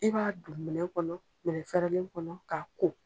I b'a don minɛn kɔnɔ minɛn fɛrɛlen kɔnɔ k'a ko